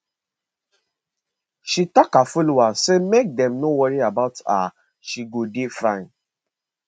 she tok her followers say make dem no worry about her she go dey fine